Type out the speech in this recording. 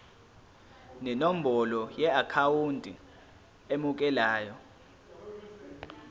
nenombolo yeakhawunti emukelayo